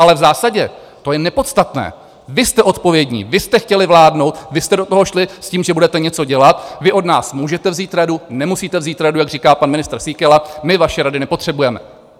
Ale v zásadě to je nepodstatné, vy jste odpovědní, vy jste chtěli vládnout, vy jste do toho šli s tím, že budete něco dělat, vy od nás můžete vzít radu, nemusíte vzít radu - jak říká pan ministr Síkela: My vaše rady nepotřebujeme.